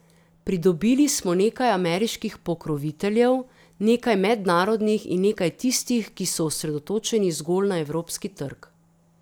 Pridobili smo nekaj ameriških pokroviteljev, nekaj mednarodnih in nekaj tistih, ki so osredotočeni zgolj na evropski trg.